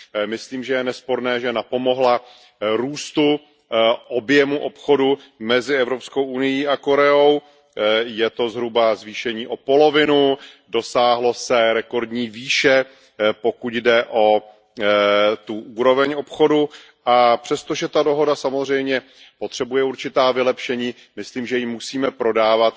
Myslím, že je nesporné, že napomohla růstu objemu obchodu mezi Evropskou unií a Koreou. Je to zhruba zvýšení o polovinu, dosáhlo se rekordní výše, pokud jde o úroveň obchodu, a přestože ta dohoda samozřejmě potřebuje určitá vylepšení, myslím, že ji musíme prodávat